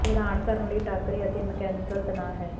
ਇਹ ਹੈਰਾਨ ਕਰਨ ਲਈ ਟਾਕਰੇ ਅਤੇ ਮਕੈਨੀਕਲ ਤਣਾਅ ਹੈ